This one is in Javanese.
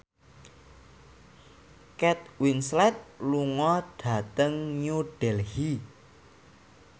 Kate Winslet lunga dhateng New Delhi